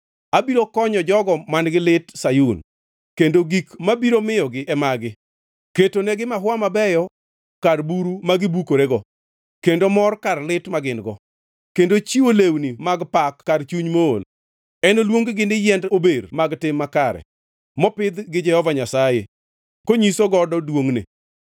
abiro konyo jogo man-gi lit Sayun, kendo gik mabiro miyogi e magi: ketonegi maua mabeyo kar buru magi bukorego, kendo mor kar lit ma gin-go, kendo chiwo lewni mag pak kar chuny mool. Enoluong-gi ni yiend ober mag tim makare, mopidh gi Jehova Nyasaye, konyiso godo duongʼne.